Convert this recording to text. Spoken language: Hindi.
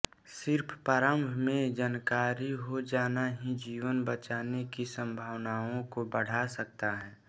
सिर्फ प्रारम्भ में जानकारी हो जाना ही जीवन बचाने की संभावनाओं को बढ़ा सकता है